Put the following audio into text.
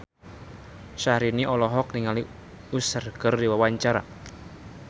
Syahrini olohok ningali Usher keur diwawancara